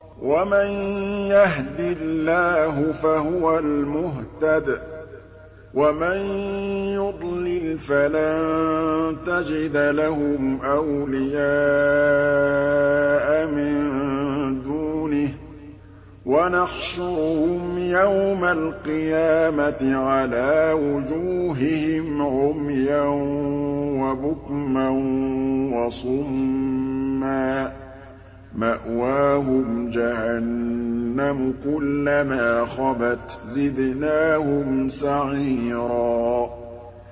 وَمَن يَهْدِ اللَّهُ فَهُوَ الْمُهْتَدِ ۖ وَمَن يُضْلِلْ فَلَن تَجِدَ لَهُمْ أَوْلِيَاءَ مِن دُونِهِ ۖ وَنَحْشُرُهُمْ يَوْمَ الْقِيَامَةِ عَلَىٰ وُجُوهِهِمْ عُمْيًا وَبُكْمًا وَصُمًّا ۖ مَّأْوَاهُمْ جَهَنَّمُ ۖ كُلَّمَا خَبَتْ زِدْنَاهُمْ سَعِيرًا